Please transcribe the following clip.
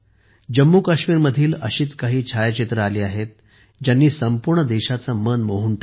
जम्मूकाश्मीरमधील अशीच काही छायाचित्रे आली ज्यांनी संपूर्ण देशाचे मन मोहून टाकले